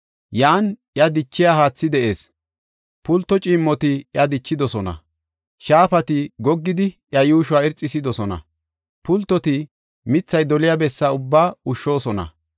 Yan iya dichiya haathi de7ees; pulto ciimmoti iya dichidosona. Shaafati goggidi iya yuushuwa irxisidosona; pultoti mithay doliya bessa ubbaa ushshoosona.